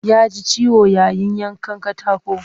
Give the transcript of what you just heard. Ya ji ciwo yayin yanka katako